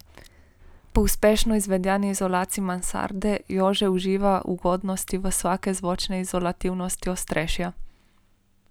Po uspešno izvedeni izolaciji mansarde Jože uživa ugodnosti visoke zvočne izolativnosti ostrešja.